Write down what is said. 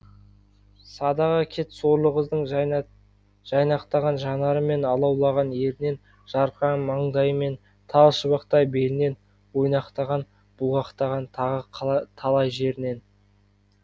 садаға кет сорлы қыздың жайнақтаған жанары мен алаулаған ернінен жарқыраған маңдайы мен тал шыбықтай белінен ойнақтаған бұлғақтаған тағы талай жерінен